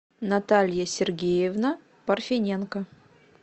наталья сергеевна парфиненко